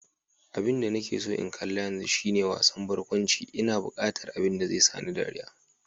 Abinda nake so in kalla yanzu shine wasan barkwanci, ina buqatar abin da zai sani dariya.